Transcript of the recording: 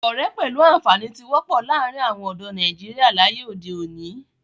Ọ̀rẹ́ pẹ̀lú àǹfàní tí wọ́pọ̀ láàrin àwon ọ̀dọ́ nàìjíría láyé òde òni